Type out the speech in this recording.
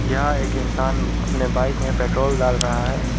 यह एक इंसान अपने बाइक में पेट्रोल डाल रहा है।